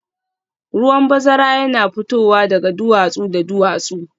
Ruwan bazara yana fitowa daga duwatsu da duwatsu